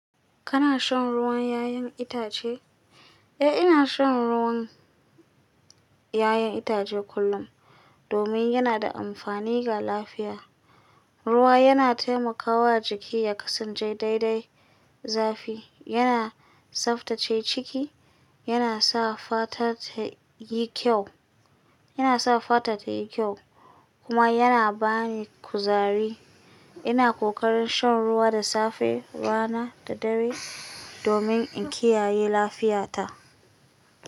Kana shan ruwan 'ya'yan itace? Eh, ina shan ruwan 'ya'yan itace kullum domin yana da amfani ga lafiya. Ruwa yana taimakawa jiki ya kasance daidai zafi, yana tsaftace ciki, yana sa fata ta yi kyau, yana sa fata ta yi kyau kuma yana bani kuzari. Ina ƙoƙarin shan ruwa da safe, rana da dare domin in kiyaye lafiyata.